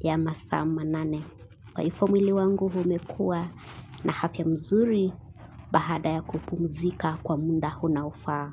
ya masaa manane. Kwa hivyo mwili wangu umekuwa na afya mzuri baada ya kupumzika kwa muda unofaa.